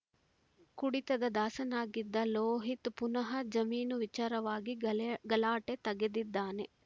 ಕುಡಿತದ ದಾಸನಾಗಿದ್ದ ಲೋಹಿತ್‌ ಪುನಃ ಜಮೀನು ವಿಚಾರವಾಗಿ ಗಳೆ ಗಲಾಟೆ ತೆಗೆದಿದ್ದಾನೆ